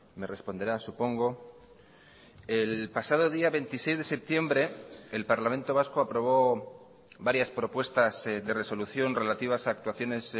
me responderá supongo el pasado día veintiséis de septiembre el parlamento vasco aprobó varias propuestas de resolución relativas a actuaciones